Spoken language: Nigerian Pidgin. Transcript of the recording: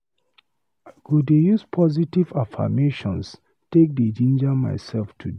I go dey use positive affirmations take dey jinja myself today.